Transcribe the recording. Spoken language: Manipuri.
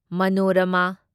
ꯃꯅꯣꯔꯥꯃꯥ